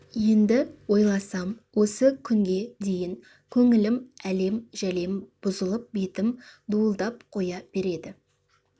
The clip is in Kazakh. енді ойласам осы күнге дейін көңілім әлем-жәлем бұзылып бетім дуылдап қоя береді